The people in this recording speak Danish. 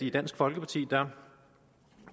i dansk folkeparti